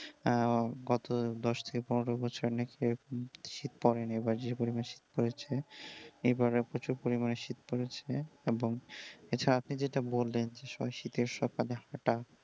হ্যাঁ গত দশ থেকে পনেরো বছর নাকি এইরকম শীত পড়েনি আবার যেই রকম শীত পড়েছে, এইবারে প্রচুর পরিমাণ শীত পড়েছে এবং এছাড়া আপনি যেটা বললেন সবাই শীতের সকালে হাঁটা।